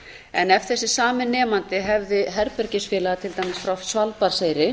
en ef þessi sami nemandi hefði herbergisfélaga til dæmis frá svalbarðseyri